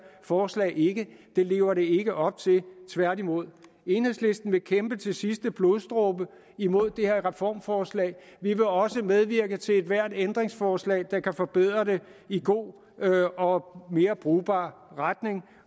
forslag ikke det lever det ikke op til tværtimod enhedslisten vil kæmpe til sidste blodsdråbe imod det her reformforslag vi vil også medvirke til ethvert ændringsforslag der kan forbedre det i god og mere brugbar retning